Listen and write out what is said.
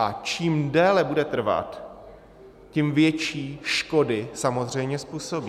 A čím déle bude trvat, tím větší škody samozřejmě způsobí.